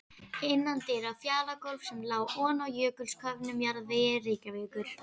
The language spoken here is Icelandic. Innandyra fjalagólf sem lá oná jökulsköfnum jarðvegi Reykjavíkur.